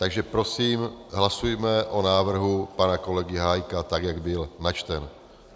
Takže prosím hlasujme o návrhu pana kolegy Hájka, tak jak byl načten.